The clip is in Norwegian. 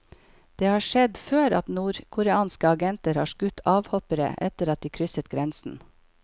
Det har skjedd før at nordkoreanske agenter har skutt avhoppere etter at de krysset grensen.